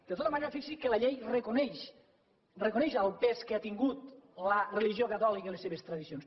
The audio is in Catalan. de tota manera fixi’s que la llei reconeix el pes que han tingut la religió catòlica i les seves tradicions